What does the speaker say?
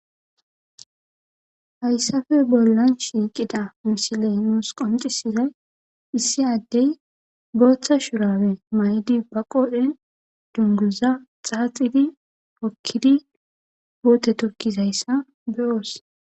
hayssafe bollan shiiqida misiley nuus qonxisizay issi addey booththa shurabe maydi ba qodhe dunguza xaaxidi hokkidi phuute tokkizayssa beyoos